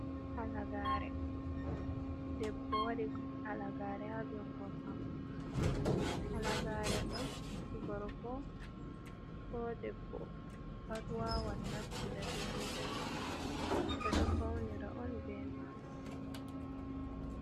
Debbo waɗi halagare ha jungo maako. halagare do gorko bo debbo pat wawan naftira be maajum ɓe do faunira on be maajum.